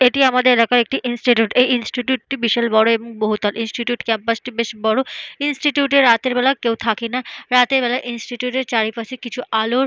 এটি আমাদের এলাকার একটি ইনস্টিটিউট । এই ইনস্টিটিউট -টি বিশাল বড় এবং বহুতল। ইনস্টিটিউট ক্যাম্পাস -টি বেশ বড়। ইনস্টিটিউট -এ রাতের বেলা কেউ থাকে না। রাতের বেলা ইনস্টিটিউট - এ চারিপাশে কিছু আলোর --